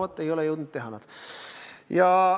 No vot, nad ei ole jõudnud teha!